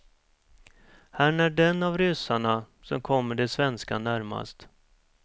Han är den av ryssarna, som kommer de svenska närmast.